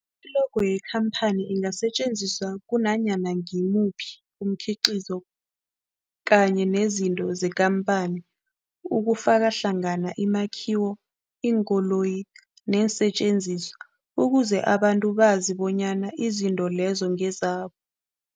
I-logo yekhamphani ingasetjenziswa kunanyana ngimuphi umkhiqizo kanye nezinto zekhamphani okufaka hlangana imakhiwo, iinkoloyi neensentjenziswa ukuze abantu bazi bonyana izinto lezo ngezabo.